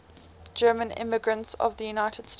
german immigrants to the united states